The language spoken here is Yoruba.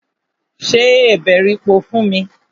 Se èbèripò fún mi!